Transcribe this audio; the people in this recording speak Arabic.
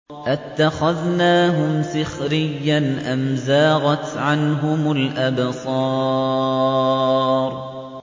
أَتَّخَذْنَاهُمْ سِخْرِيًّا أَمْ زَاغَتْ عَنْهُمُ الْأَبْصَارُ